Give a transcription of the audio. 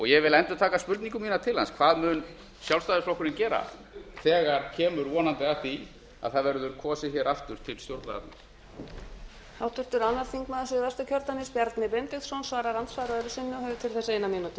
ég vil endurtaka spurningu mína til hans hvað mun sjálfstæðisflokkurinn gera þegar kemur vonandi að því að það verður kosið hér aftur til stjórnlagaþings